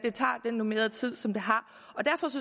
normerede tid og derfor